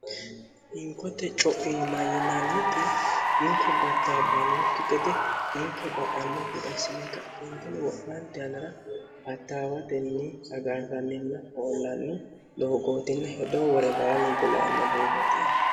hinkote co'i mayyinanniti ninko battaabbannukki gede hinko ba'anne gidassine kauntini wo'maanti anira battaawatenni agarranninna hoollanni doogootinne hedoo wore baalunqula anna doogooti